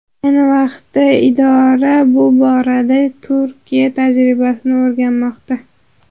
Ayni vaqtda idora bu borada Turkiya tajribasini o‘rganmoqda.